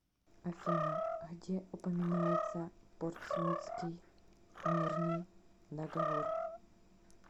афина где упоминается портсмутский мирный договор